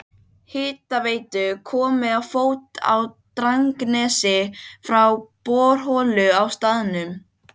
Engir öskrandi krakkar eða skvaldrandi kvenfólk á torgum eða götuhornum.